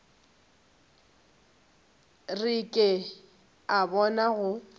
re ke a bona go